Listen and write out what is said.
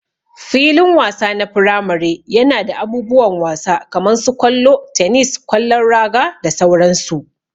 Filin wasa na firamare yana da abubuwan wasa kaman su kwallo, tenis, kwallon raga da sauran su.